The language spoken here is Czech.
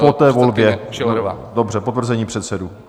Po té volbě - dobře - potvrzení předsedů.